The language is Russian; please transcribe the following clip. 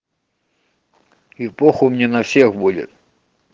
и похуй мне на всех будет